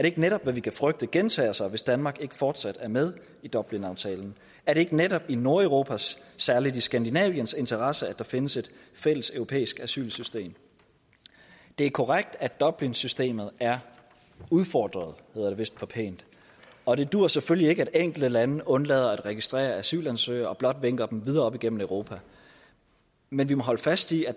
ikke netop hvad vi kan frygte gentager sig hvis danmark ikke fortsat er med i dublinaftalen er det ikke netop i nordeuropas særlig skandinaviens interesse at der findes et fælles europæisk asylsystem det er korrekt at dublinsystemet er udfordret hedder det vist pænt og det duer selvfølgelig ikke at enkelte lande undlader at registrere asylansøgere men blot vinker dem videre op igennem europa men vi må holde fast i at